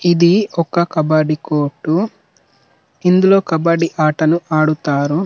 ఇది ఒక కబ్బ్బడి కోర్ట్ ఇందులో కబ్బడి ఆటలు ఆడుతారు .